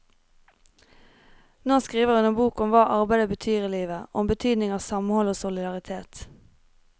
Nå skriver hun en bok om hva arbeidet betyr i livet, og om betydningen av samhold og solidaritet.